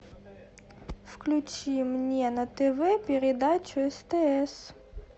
включи мне на тв передачу стс